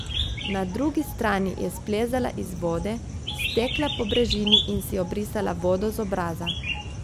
Na drugi strani je splezala iz vode, stekla po brežini in si obrisala vodo z obraza.